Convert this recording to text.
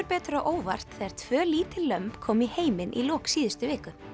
betur á óvart þegar tvö lítil lömb komu í heiminn í lok síðustu viku